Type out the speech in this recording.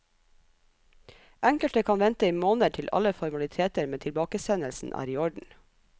Enkelte kan vente i måneder til alle formaliteter med tilbakesendelsen er i orden.